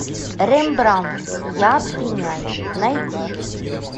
рембрандт я обвиняю найди